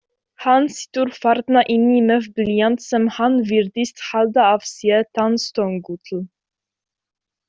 Hann situr þarna inni með blýant sem hann virðist halda að sé tannstöngull.